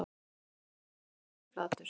Þarna lá hann kylliflatur